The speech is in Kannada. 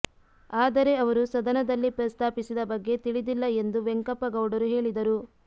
ಆದರೆ ಅವರು ಸದನದಲ್ಲಿ ಪ್ರಸ್ತಾಪಿಸಿದ ಬಗ್ಗೆ ತಿಳಿದಿಲ್ಲ ಎಂದು ವೆಂಕಪ್ಪ ಗೌಡರು ಹೇಳಿದರು